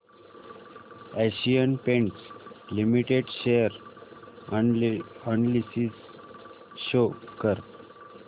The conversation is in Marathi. Asian paints limited share analysis show कर